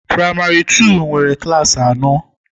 Praịmari tuu nwere klassị anọ